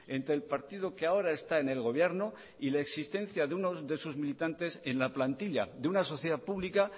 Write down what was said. entre el partido que ahora está en el gobierno y la existencia de unos de sus militantes en la plantilla de una sociedad pública